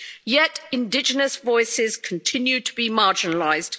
Yet indigenous voices continue to be marginalised.